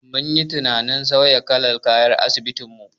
Mun yi tunanin sauya kalar kayan asibitin mu.